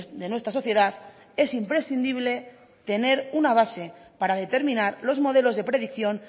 de nuestra sociedad es imprescindible tener una base para determinar los modelos de predicción